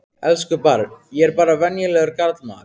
Elsku barn, ég er bara venjulegur karlmaður.